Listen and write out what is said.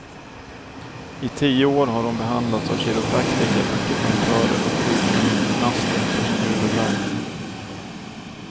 I tio år har hon behandlats av kiropraktiker, akupunktörer och sjukgymnaster för sin huvudvärk.